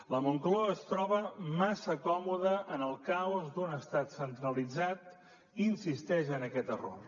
la moncloa es troba massa còmoda en el caos d’un estat centralitzat i insisteix en aquest error